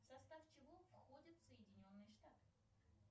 в состав чего входят соединенные штаты